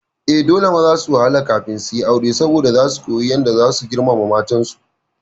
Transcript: Eh, dole maza su wahala kafin suyi aure saboda zasu kuyi yadda zasu girmama matan su